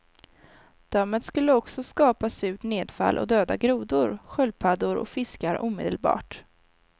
Dammet skulle också skapa surt nedfall och döda grodor, sköldpaddor och fiskar omedelbart.